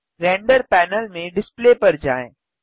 render panel में display पर जाएँ